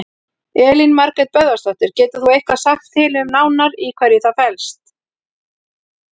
Elín Margrét Böðvarsdóttir: Getur þú eitthvað sagt til um nánar í hverju það felst?